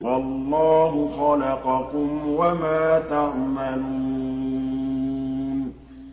وَاللَّهُ خَلَقَكُمْ وَمَا تَعْمَلُونَ